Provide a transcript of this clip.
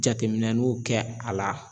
Jateminɛnuw kɛ a la